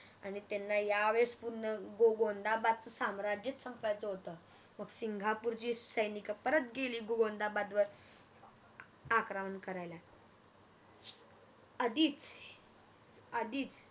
आणि त्यांना या वेळेस पूर्ण गोंदाबादच साम्राज्यच संपवायच होत मग सिंगपूरची सैनिक परत गेली गोंदाबादवर अं आक्रमण करायला आधीच आधीच